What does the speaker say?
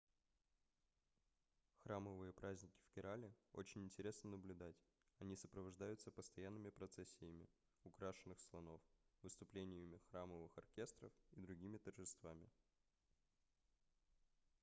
храмовые праздники в керале очень интересно наблюдать они сопровождаются постоянными процессиями украшенных слонов выступлениями храмовых оркестров и другими торжествами